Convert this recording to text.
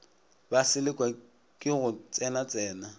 ba selekwa ke go tsenatsena